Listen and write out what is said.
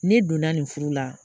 Ne donna nin furu la